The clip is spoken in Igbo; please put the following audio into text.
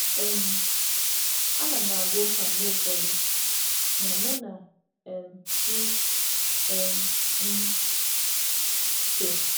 M na-aga mgbakọ ugboro ugboro, ma nọgide na-eme ime mmụọ m n’ụzọ onwe m.